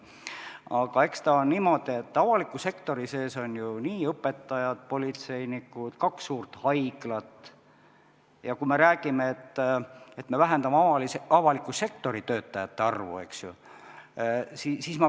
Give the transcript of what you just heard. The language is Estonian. Aga eks ta ole niimoodi, et avaliku sektori sees on ju õpetajad, politseinikud, kaks suurt haiglat.